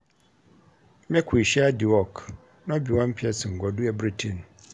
Make we share di work, no be one pesin go do everytin.